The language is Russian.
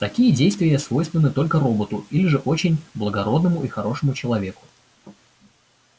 такие действия свойственны только роботу или же очень благородному и хорошему человеку